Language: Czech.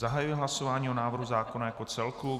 Zahajuji hlasování o návrhu zákona jako celku.